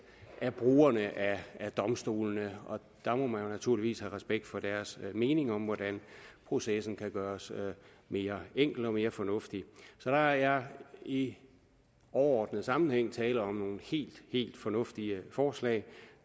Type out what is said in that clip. af brugerne af domstolene der må man naturligvis have respekt for deres meninger om hvordan processen kan gøres mere enkel og mere fornuftig så der er i overordnet sammenhæng tale om nogle helt fornuftige forslag